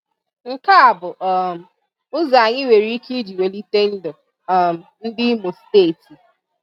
Nke a bụ um ụzọ anyị nwere ike iji welite ndụ um ndị Imo Steeti.